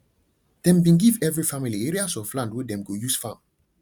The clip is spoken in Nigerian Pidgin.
dem bin give every family areas of land wey dem go use farm